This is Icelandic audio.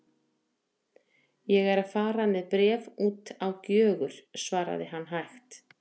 Ég er að fara með bréf út á Gjögur, svaraði hann hægt.